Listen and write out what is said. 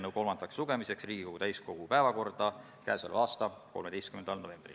Kas on mingid arvestused, kui palju see maksma võiks minna ja kas viie aasta pärast olukord muutub?